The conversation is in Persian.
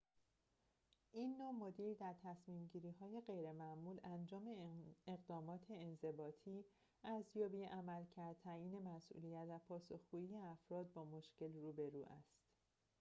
این نوع مدیر در تصمیم‌گیری‌های غیرمعمول انجام اقدامات انضباطی ارزیابی عملکرد تعیین مسئولیت و پاسخگویی افراد با مشکل روبرو است